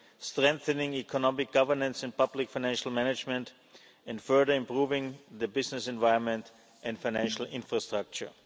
strengthening economic governance and public financial management, and further improving the business environment and financial infrastructure.